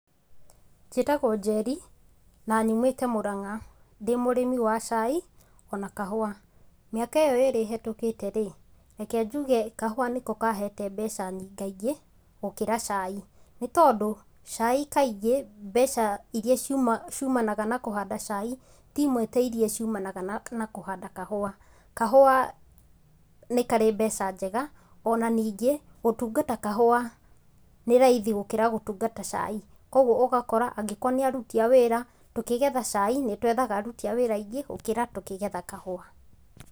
Njĩtagwo Njeri, na nyumĩte Mũrang'a, ndĩ mũrĩmi wa cai ona kahũwa, mĩaka ĩyo ĩrĩ ĩhetũkĩterĩ, reke njũge kahũwa nĩko kahete mbeca nyingaingĩ gũkira cai. Nĩtondũ cai kaingĩ mbeca iria ciũma ciũmanaga na kũhanda cai timwe ta iria ciũmanaga na na kũhanda kahũwa. Kahũwa, nĩ karĩ mbeca njega ona ningĩ gũtungata kahũwa, nĩraithi gũkira gũtungata cai, kogũo ũgakora angĩkorwo nĩ arũti a wĩra tũkĩgetha cai nĩtwĩthaga arũti a wĩra aingĩ gũkĩra tũkĩgetha kahũwa.